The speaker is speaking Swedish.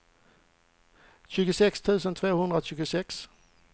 tjugosex tusen tvåhundratjugosex